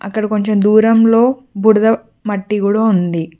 ఇక్కడ కొంచెం దూరంలో బూడిద మట్టి కూడా ఉంది.